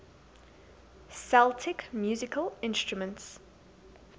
celtic musical instruments